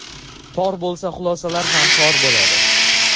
tor bo‘lsa xulosalar ham tor bo‘ladi.